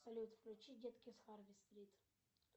салют включи детки с харви стрит